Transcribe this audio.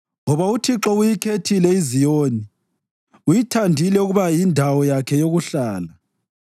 Ngoba uThixo uyikhethile iZiyoni, uyithandile ukuba yindawo yakhe yokuhlala: